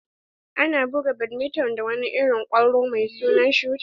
Ana buga badminton da wani irin kwallo mai suna shuta.